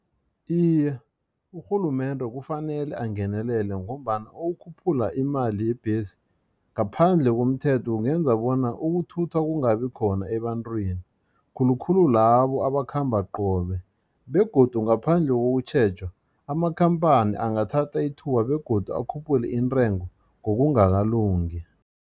Iye, urhulumende kufanele angenelele ngombana ukukhuphula imali yebhesi ngaphandle komthetho kungenza bona ukuthutha kungabi khona ebantwini khulukhulu labo abakhamba qobe begodu ngaphandle kokutjhejwa amakhamphani angathatha ithuba begodu akhuphule intengo ngokungakalungi.